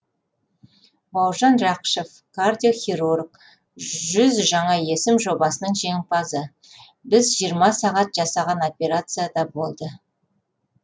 бауыржан рақышев кардиохирург жүз жаңа есім жобасының жеңімпазы біз жиырма сағат жасаған операция да болды